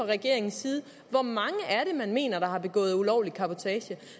regeringens side hvor mange man mener har begået ulovlig cabotage